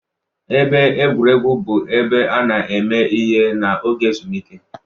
Ebe egwuregwu bụ ebe a na-eme ihe n'oge ezumike.